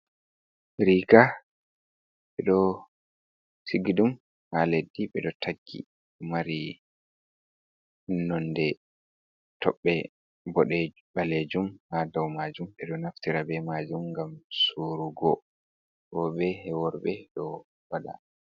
"Riiga" ɓeɗo sigi ɗum ha leddi ɓeɗo taggi mari nonde toɓɓe boɗe ɓalejum ha dau majum ɓeɗo naftira be majum ngam sorugo rooɓe worɓe ɗo waɗa.